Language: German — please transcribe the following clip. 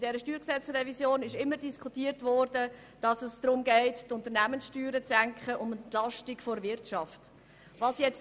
Hier wurde immer diskutiert, dass es darum gehe, die Unternehmenssteuer zu senken und die Wirtschaft zu entlasten.